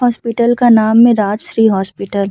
Hospital का नाम है राजश्री हॉस्पिटल ।